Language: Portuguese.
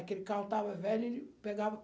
Aquele carro estava velho, e pegava